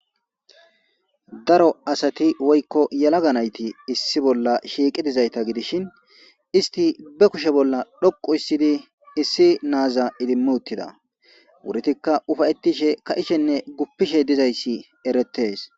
Daro asati woykko yalaga nayti issi bolla shiiqi dizayta gidishin isti be kushe bolla dhoqu issidi issi naaza idimmu uttida wuritikka ufayettishe ka ishenne guppishe dizayssi eretes